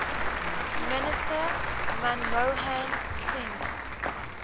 minister manmohan singh